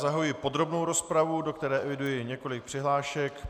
Zahajuji podrobnou rozpravu, do které eviduji několik přihlášek.